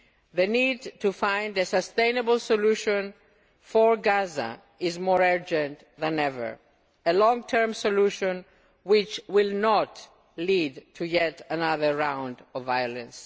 The need to find a sustainable solution for Gaza is more urgent than ever a long term solution which will not lead to yet another round of violence.